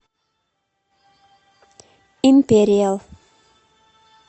империал